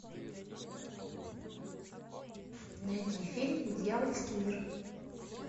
найди фильм дьявольский мир